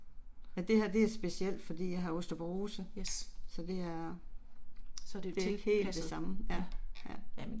Men det her det er specielt, fordi jeg har osteoporose. Så det er. Det er ikke helt det samme, ja, ja